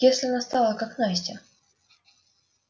если она стала как настя